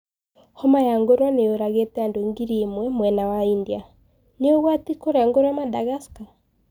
Homa ya ngorowe niyũragite andũ ngiri imwe mwena wa India Ni ũgwati kũria ngorowe Madagascar?